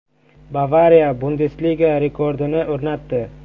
“Bavariya” Bundesliga rekordini o‘rnatdi.